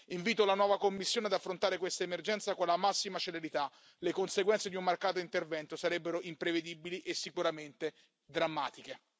Invito la nuova Commissione ad affrontare questa emergenza con la massima celerità visto che le conseguenze di un marcato intervento sarebbero imprevedibili e sicuramente drammatiche.